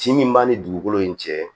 Ci min b'an ni dugukolo in cɛ